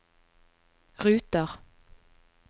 ruter